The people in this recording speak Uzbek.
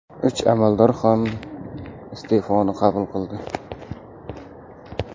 Uch amaldor ham iste’foni qabul qildi.